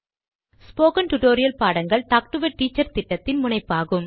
spoken tutorial பாடங்கள் talk to a teacher திட்டத்தின் முனைப்பாகும்